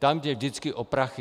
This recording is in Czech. Tam jde vždycky o prachy!